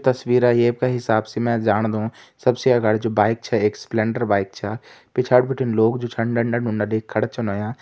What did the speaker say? तस्वीरा ये का हिसाब से मैं जांणदू सबसे अगाड़ी जु बाइक छे एक स्प्लेंडर बाइक छा पिछाड़ी बिटिन लोग जु छन डंडा डुंडा लेकर खड़ा छन होयां।